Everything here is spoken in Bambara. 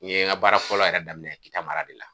N ye n ka baara fɔlɔ yɛrɛ daminɛ kita mara de la.